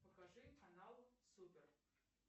покажи канал супер